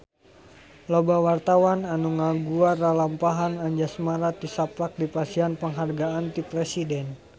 Loba wartawan anu ngaguar lalampahan Anjasmara tisaprak dipasihan panghargaan ti Presiden